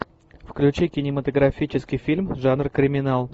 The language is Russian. включи кинематографический фильм жанр криминал